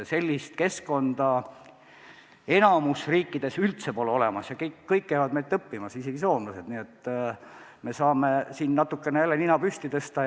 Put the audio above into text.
Sellist keskkonda enamikus teistes riikides üldse pole ja kõik käivad meilt õppimas, isegi soomlased, nii et me saame siin natukene jälle nina püsti ajada.